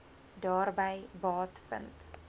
daarby baat vind